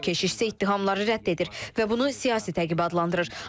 Keçid isə ittihamları rədd edir və bunu siyasi təqib adlandırır.